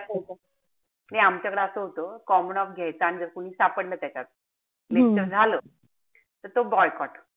नाई आमच्याकडं असं होत common-off घ्यायचा आणि जर कोणी सापडलं त्याच्यात lecture झालं. त तो boycott